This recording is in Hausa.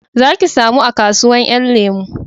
Za ki samu a kasuwan 'yan lemo